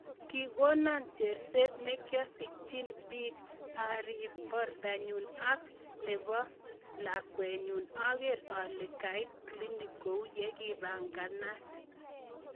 "Kikono cherset nesikisyechin pikk arip. portonyu ak nepo. lakwet nenyuu ager ale kait klinik kou yekipanganat.